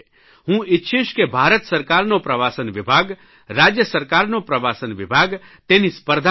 હું ઇચ્છીશ કે ભારત સરકારનો પ્રવાસનવિભાગ રાજય સરકારનો પ્રવાસન વિભાગ તેની સ્પર્ધા કરે